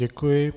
Děkuji.